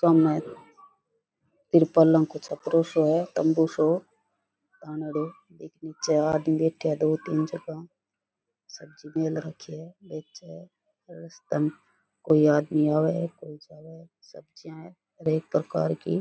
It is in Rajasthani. सामे तिरपालें को छपरो सो है तम्बू सो एक निचे आदमी बैठया है दो तीन जगह सब्जी मेल रखी है बैठया है रास्ता में कोई आदमी आवे है कोई जावे है सब्जिया है अनेक प्रकार की।